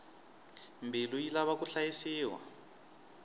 mbilu yi lava ku hlayisiwa